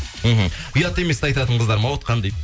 мхм ұят емес ті айтатын қыздар ма отқан дейді